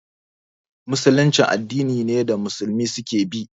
Musulunci addini ne da Musulmi su ke bi